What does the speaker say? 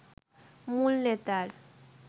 মূল নেতার